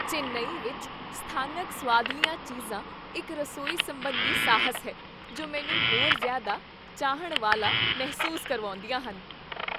ਚੇਨੱਈ ਵਿੱਚ ਸਥਾਨਕ ਸੁਆਦਲੀਆਂ ਚੀਜ਼ਾਂ ਇੱਕ ਰਸੋਈ ਸੰਬੰਧੀ ਸਾਹਸ ਹੈ ਜੋ ਮੈਨੂੰ ਹੋਰ ਜ਼ਿਆਦਾ ਚਾਹੁਣ ਵਾਲਾ ਮਹਿਸੂਸ ਕਰਵਾਉਂਦੀਆਂ ਹਨ।